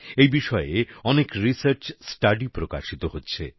এই বিষয়ে অনেক রিসার্চ স্টাডি প্রকাশিত হচ্ছে